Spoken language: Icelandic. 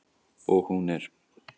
Og hún er.